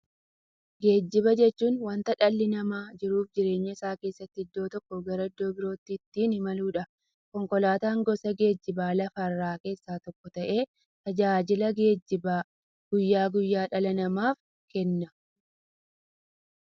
Geejjiba jechuun wanta dhalli namaa jiruuf jireenya isaa keessatti iddoo tokkoo gara iddoo birootti ittiin imaluudha. Konkolaatan gosa geejjibaa lafarraa keessaa tokko ta'ee, tajaajila geejjibaa guyyaa guyyaan dhala namaaf kenna.